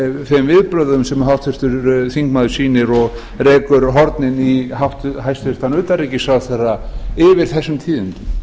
þeim viðbrögðum sem háttvirtur þingmaður sýnir og rekur hornin í hæstvirts utanríkisráðherra yfir þessum tíðindum